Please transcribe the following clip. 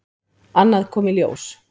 Annað kom í ljós.